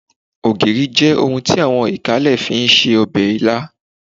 Ògìrì jẹ́ ohun tí àwọn ìkálẹ̀ fi ń se ọbẹ̀ ilá